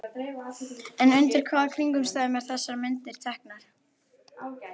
En undir hvaða kringumstæðum eru þessar myndir teknar?